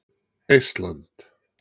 Eistland